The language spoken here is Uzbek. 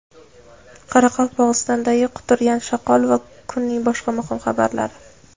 Qoraqalpog‘istondagi quturgan shoqol va kunning boshqa muhim xabarlari.